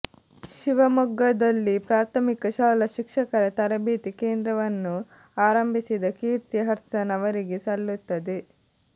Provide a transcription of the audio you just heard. ಶಿವಮೊಗ್ಗದಲ್ಲಿ ಪ್ರಾಥಮಿಕ ಶಾಲಾ ಶಿಕ್ಷಕರ ತರಬೇತಿ ಕೇಂದ್ರವನ್ನು ಆರಂಭಿಸಿದ ಕೀರ್ತಿ ಹಡ್ಸನ್ ಅವರಿಗೆ ಸಲ್ಲುತ್ತದೆ